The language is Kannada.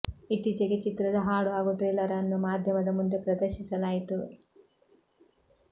ಇತ್ತೀಚೆಗೆ ಚಿತ್ರದ ಹಾಡು ಹಾಗೂ ಟ್ರೇಲರ್ ಅನ್ನು ಮಾಧ್ಯಮದ ಮುಂದೆ ಪ್ರದರ್ಶಿಸಲಾಯಿತು